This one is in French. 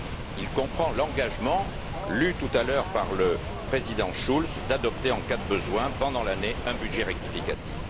Il comprend l'engagement, lu tout à l'heure par le Président Schulz, d'adopter en cas de besoin, pendant l'année, un budget rectificatif.